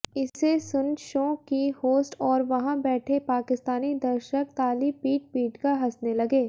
इसे सुन शो की होस्ट और वहाँ बैठे पाकिस्तानी दर्शक ताली पीट पीटकर हँसने लगे